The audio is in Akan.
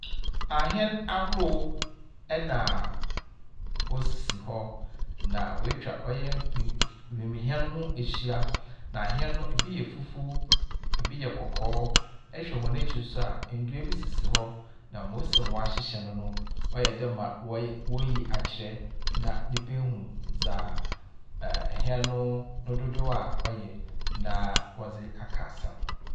Ahɛn ahorow na wosisi hɔ, na woetwa ɔyɛ wim wimuhɛn no ho ahyia. Na ahɛn no, bi yɛ fufuw, bi yɛ kɔkɔɔ. Na ehwɛ hɔn ekyir so a, nnua bi sisi hɔ, na mbrɛ woesi ahyehyɛ no no, ɔyɛ dɛ ma wɔrey woriyi akyerɛ na nyimpa ehu dza ɛɛɛ hɛn no no dodow a ɔyɛ na wɔdze aka asɛm.